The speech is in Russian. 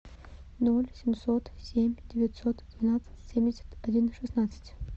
ноль семьсот семь девятьсот двенадцать семьдесят один шестнадцать